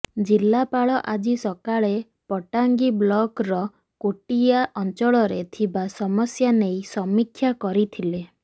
ଜିଲ୍ଲାପାଳ ଆଜି ସକାଳେ ପଟାଙ୍ଗୀ ବ୍ଲକର କୋଟିଆ ଅଂଚଳରେ ଥିବା ସମସ୍ୟା ନେଇ ସମୀକ୍ଷା କରିଥିଲେ